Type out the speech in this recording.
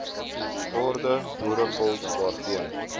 orde boerevolk daarteen